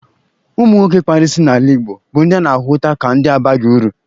Ụmụ nwoke kpara isi n'ala Igbo bụ ndị a na-ahụta ka ndị abaghị uru.